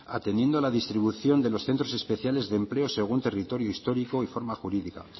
ateniendo a la distribución de los centros especiales de empleo según territorio histórico y forma jurídica